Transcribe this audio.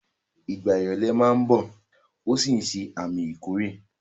Ìgbà ìrọ̀lẹ̀ máa ń bọ̀ ó sì ń ṣe àmì ìkórè.